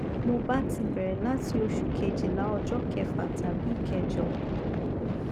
mo ba ti bere lati osu kejila ojo kefa tabi ikejo